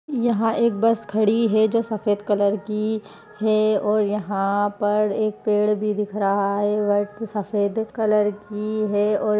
यहाँ एक बस खड़ी हुई है जो सफ़ेद कलर की है और यहां पर एक पेड़ भी दिख रहा है सफेद कलर की है और --